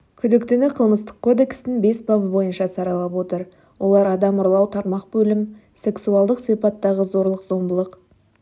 күдіктіні қылмыстық кодекстің бес бабы бойынша саралап отыр олар адам ұрлау тармақ бөлім сексуалдық сипаттағы зорлық-зомбылық